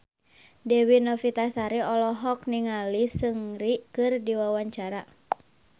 Dewi Novitasari olohok ningali Seungri keur diwawancara